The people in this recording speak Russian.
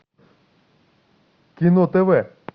кино тв